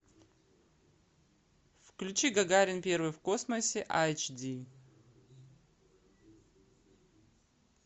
включи гагарин первый в космосе айч ди